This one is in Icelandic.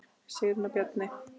Sigrún og Bjarni.